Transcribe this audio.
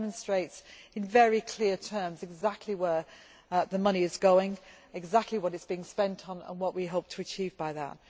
It demonstrates in very clear terms exactly where the money is going, exactly what it is being spent on and what we hope to achieve by that.